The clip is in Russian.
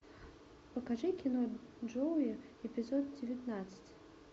покажи кино джоуи эпизод девятнадцать